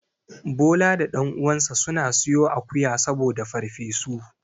Bola da ɗan uwansa suna siyo akuwa saboda farfesu.